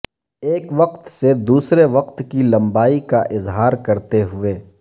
ایک وقت سے دوسرے وقت کی لمبائی کا اظہار کرتے ہوئے